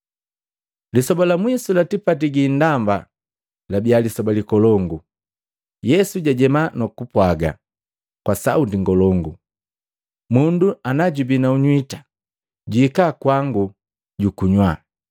Lisoba la mwisu la tipati gi indamba labiya lisoba likolongu. Yesu jajema nukupwaga kwa sauti ngolongu, “Mundu najubi na nywita, juhika kwangu jukunywa.